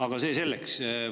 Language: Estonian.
Aga see selleks.